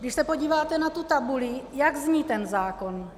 Když se podíváte na tu tabuli - jak zní ten zákon?